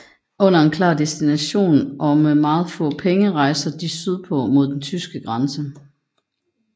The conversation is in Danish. Uden en klar destination og med meget få penge rejser de sydpå mod den tyske grænse